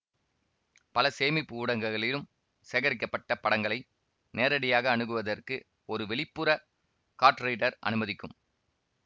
பல சேமிப்பு ஊடகங்களிலும் சேகரிக்கப்பட்ட படங்களை நேரடியாக அணுகுவதற்கு ஒரு வெளிப்புற கார்ட் ரீடர் அனுமதிக்கும்